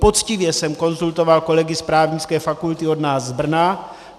Poctivě jsem konzultoval kolegy z Právnické fakulty od nás z Brna.